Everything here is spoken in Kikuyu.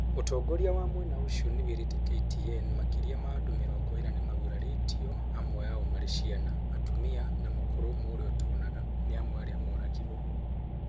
ũtongoria wa mwena ũcio nĩwĩrĩte KTN makĩria ma andũ mĩrongo ĩna nĩmagurarĩtio amwe ao marĩ ciana, atumia na mũkũrũ ũmwe ũrĩa ũtonaga, nĩ amwe arĩa moragirwo